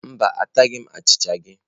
Mba, ataghi m achịcha gị.